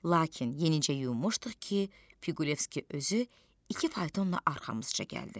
Lakin yenicə yunmuşduq ki, Piqulevski özü iki faytonla arxamızca gəldi.